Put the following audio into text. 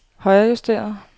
højrejusteret